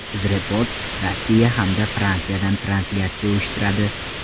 UzReport Rossiya hamda Fransiyadan translyatsiya uyushtiradi.